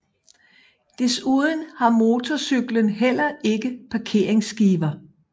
Desuden har motorcykler heller ikke parkeringsskiver